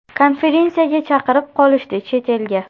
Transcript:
Konferensiyaga chaqirib qolishdi chet elga.